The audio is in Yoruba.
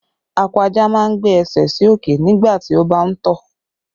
Akọ ajá máa ń gbé ẹsẹ̀ sí òkè nígbà tí ó bá ń tọ̀